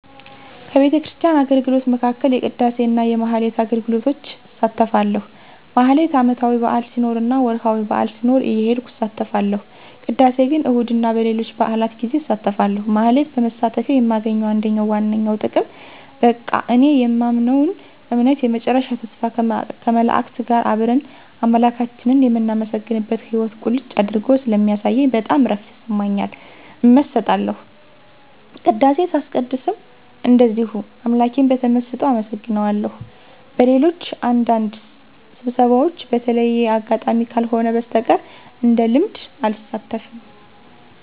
ከቤተክርስቲያን አገልግሎቶች መካከል የቅዳሴ እና የማኅሌት አገልግሎቶች እሳተፋለሁ። ማኅሌት ዓመታዊ በዓል ሲኖር እና ወርኃዊ በዓል ሲኖር እየሄድኩ እሳተፋለሁ። ቅዳሴ ግን እሁድ እና በሌሎች በዓላት ጌዜ አሳተፋለሁ። ማኅሌት በመሳተፌ የማገኘው አንደኛውና ዋነኛው ጥቅም በቃ እኔ የማምነውን እምነት የመጨረሻ ተስፋ ከመላእክት ጋር አብረን አምላካችንን የምናመሰግንበትን ሕይዎት ቁልጭ አድርጎ ስለሚያሳየኝ በጣም እረፍት ይሰማኛል። እመሰጣለሁ። ቅዳሴ ሳስቀድስም እንደዚሁ አምላኬን በተመሰጦ አመሰግነዋለሁ። በሌሎች አንዳንድ ስብሰባዎች በተለየ አጋጣሚ ካልሆነ በስተቀር እንደልምድ አልሳተፍም።